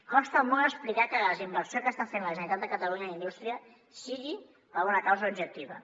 costa molt explicar que la desinversió que està fent la generalitat de catalunya en indústria sigui per una causa objectiva